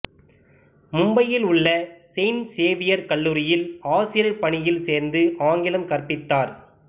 மும்பையில் உள்ள saint Xavier கல்லூரியில் ஆசிரியர் பணியில் சேர்ந்து ஆங்கிலம் கற்பித்தார்